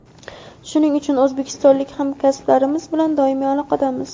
shuning uchun o‘zbekistonlik hamkasblarimiz bilan doimiy aloqadamiz.